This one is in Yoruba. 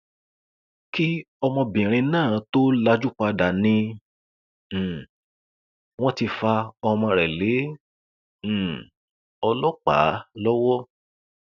kí obìnrin náà tóó lajú padà ni um wọn ti fa ọmọ rẹ lé um ọlọpàá lọwọ